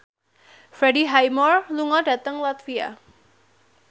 Freddie Highmore lunga dhateng latvia